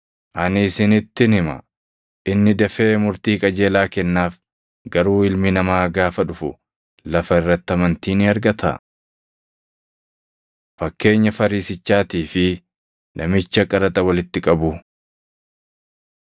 Ani isinittin hima; inni dafee murtii qajeelaa kennaaf; garuu Ilmi Namaa gaafa dhufu lafa irratti amantii ni argataa?” Fakkeenya Fariisichaatii fi Namicha Qaraxa Walitti Qabuu